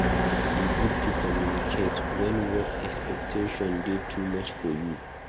E good to communicate wen work expectations dey too much for you.